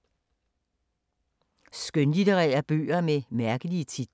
Skønlitterære bøger med mærkelige titler